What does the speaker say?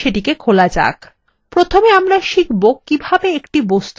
প্রথমে আমরা শিখবো কীভাবে একটি বস্তু নির্বাচন করতে হয়